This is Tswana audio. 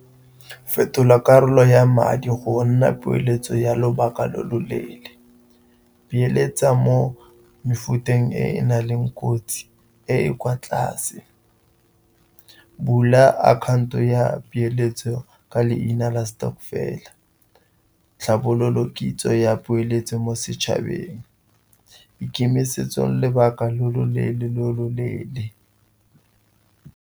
Fetola karolo ya madi go nna poeletso ya lobaka lo lo leele, beeletsa mo mefuteng e na le kotsi e e kwa tlase, bula akhaonto ya peeletso ka leina stokvel, tlhabololo kitso ya poeletso mo setšhabeng, ikemisetse lobaka lo lo leele, lo lo leele.